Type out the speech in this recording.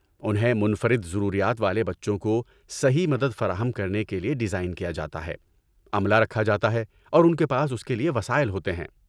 انہیں منفرد ضروریات والے بچوں کو صحیح مدد فراہم کرنے کے لیے ڈیزائن کیا جاتا ہے، عملہ رکھا جاتا ہے اور ان کے پاس اس کے لیے وسائل ہوتے ہیں۔